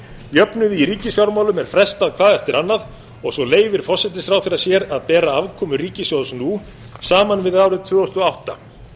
jöfnuði í ríkisfjármálum er frestað hvað eftir annað og svo leyfir forsætisráðherra sér að bera afkomu ríkissjóðs nú saman við árið tvö þúsund og átta